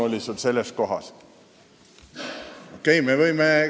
Miks sul selles kohas selline alatoon oli?